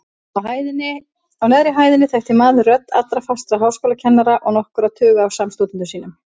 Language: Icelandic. Á neðri hæðinni þekkti maður rödd allra fastra háskólakennara og nokkurra tuga af samstúdentum sínum.